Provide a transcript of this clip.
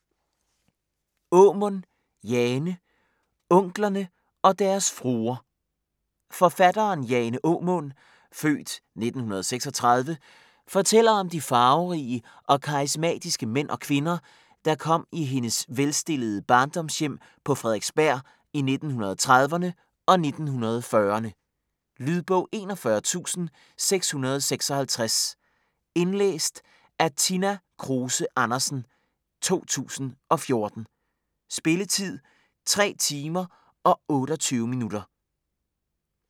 Aamund, Jane: Onklerne og deres fruer Forfatteren Jane Aamund (f. 1936) fortæller om de farverige og karismatiske mænd og kvinder, der kom i hendes velstillede barndomshjem på Frederiksberg i 1930'erne og 1940'erne. Lydbog 41656 Indlæst af Tina Kruse Andersen, 2014. Spilletid: 3 timer, 28 minutter.